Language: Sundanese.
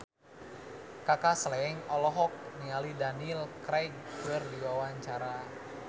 Kaka Slank olohok ningali Daniel Craig keur diwawancara